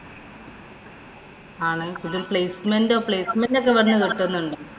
ആണ് ഇതില്‍ placement ഓ, placement ഒക്കെ വന്നു